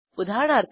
उदाहरणार्थ